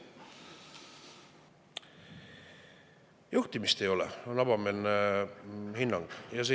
Juhtimist ei ole, on avameelne hinnang.